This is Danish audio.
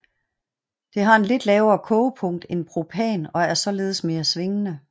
Det har et lidt lavere kogepunkt end propan og er således mere svingende